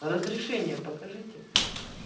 разрешение покажите